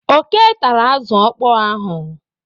Oké tara azụ ọkpọọ ahụ.